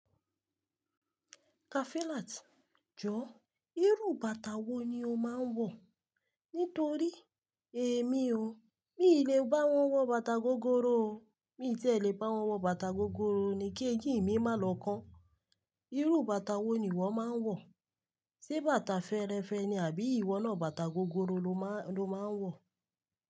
Kafilat, jọ irú bàtà wo ni o máa ń wọ̀? Nítorí èmi o, mi lè bá wọn wọ bàtà gogoro o. Mi tí ẹ lè bá wọn wọ bàtà gogoro ni kí ẹyin mi má lọ́kàn. Irú bàtà wo ni ìwọ máa ń wọ̀? Ṣé bàtà fẹ́ẹ́rẹ́fẹ́ ni àbí ìwọ náà bàtà gogoro lo máa ń wọ̀?